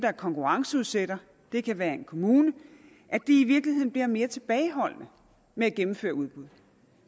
og konkurrenceudsætter det kan være en kommune i virkeligheden bliver mere tilbageholdende med at gennemføre udbud